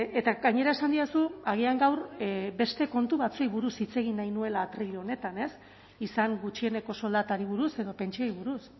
eta gainera esan didazu agian gaur beste kontu batzuei buruz hitz egin nahi nuela atril honetan izan gutxieneko soldatari buruz edo pentsioei buruz